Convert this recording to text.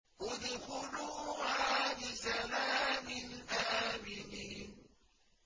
ادْخُلُوهَا بِسَلَامٍ آمِنِينَ